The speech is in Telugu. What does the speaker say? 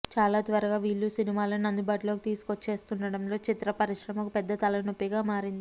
చాలా త్వరగా వీళ్ళు సినిమాలను అందుబాటులోకి తీసుకొచ్చేస్తుండడం చిత్ర పరిశ్రమకు పెద్ద తలనొప్పిగా మారింది